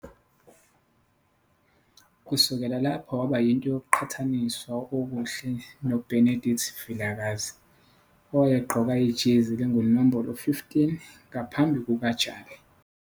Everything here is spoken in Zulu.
Kusukela lapho waba yinto yokuqhathaniswa okuhle noBenedict Vilakazi - owayegqoka ijezi elingunombolo 15 ngaphambi kukaJali.